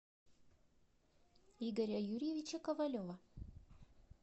игоря юрьевича ковалева